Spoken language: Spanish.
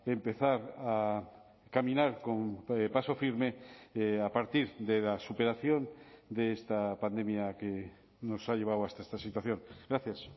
empezar a caminar con paso firme a partir de la superación de esta pandemia que nos ha llevado hasta esta situación gracias